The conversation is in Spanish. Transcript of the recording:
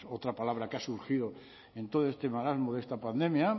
otra palabra que ha surgido en todo este marasmo de esta pandemia